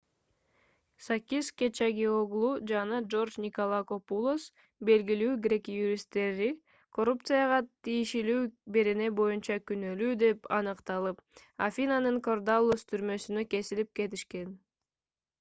сакис кечагиоглу жана джордж николакопулос белгилүү грек юристтери коррупцияга тийиштүү берене боюнча күнөлүү деп аныкталып афинанын кордаллус түрмөсүнө кесилип кетишкен